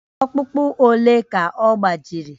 Ọkpụkpụ ole ka ọ gbajiri?